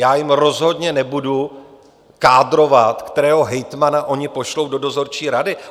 Já jim rozhodně nebudu kádrovat, kterého hejtmana oni pošlou do dozorčí rady.